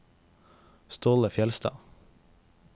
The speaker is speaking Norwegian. Ståle Fjellstad